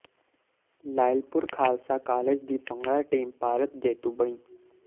Lyallpur Khalsa college ਦੀ bhangra team Bharat ਜੇਤੂ ਬਣੀ